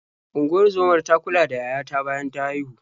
Unguzomar ta kula da yaya ta bayan ta haihu.